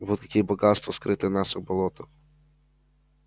вот какие богатства скрыты в наших болотах